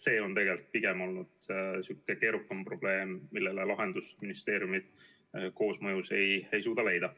See on pigem olnud keerukam probleem, millele lahendust ministeeriumid koosmõjus ei suuda leida.